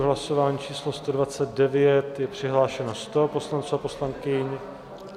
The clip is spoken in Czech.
V hlasování číslo 129 je přihlášeno 100 poslanců a poslankyň.